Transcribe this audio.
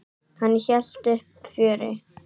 Hann hélt uppi fjöri.